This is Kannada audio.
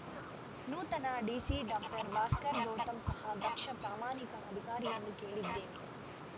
ನೂತನ ಡಿಸಿ ಡಾಕ್ಟರ್ ಭಾಸ್ಕರ ಗೌತಮ್‌ ಸಹ ದಕ್ಷ ಪ್ರಾಮಾಣಿಕ ಅಧಿಕಾರಿಯೆಂದು ಕೇಳಿದ್ದೇನೆ